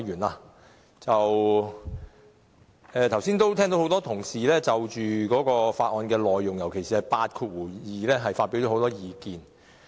剛才我聽到多位同事就《道歉條例草案》內容，尤其是第82條發表很多意見。